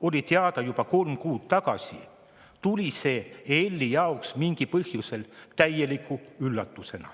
oli teada juba kolm kuud tagasi, tuli see EL-i jaoks mingil põhjusel täieliku üllatusena.